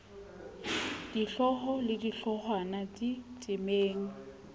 dihlooho le di hloohwana ditemeng